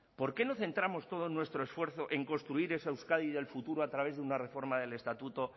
por qué no centramos todo nuestro esfuerzo en construir esa euskadi del futuro a través de una reforma del estatuto